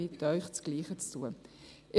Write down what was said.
Ich bitte Sie, das Gleiche zu tun.